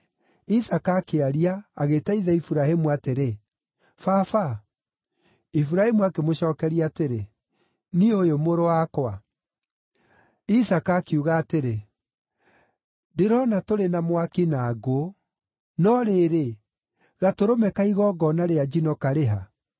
Isaaka akĩaria, agĩĩta ithe Iburahĩmu atĩrĩ, “Baba!” Iburahĩmu akĩmũcookeria atĩrĩ, “Niĩ ũyũ, mũrũ wakwa.” Isaaka akiuga atĩrĩ, “Ndĩrona tũrĩ na mwaki na ngũ! No rĩrĩ, gatũrũme ka igongona rĩa njino karĩ ha?”